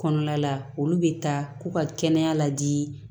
Kɔnɔna la olu bɛ taa k'u ka kɛnɛya la di